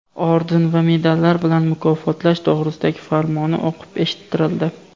orden va medallari bilan mukofotlash to‘g‘risidagi farmoni o‘qib eshittirildi.